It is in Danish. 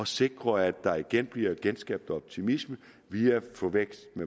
sikre at der igen bliver skabt optimisme via vækst i